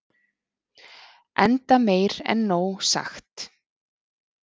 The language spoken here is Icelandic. enda meir en nóg sagt